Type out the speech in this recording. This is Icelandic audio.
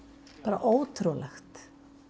ótrúlegt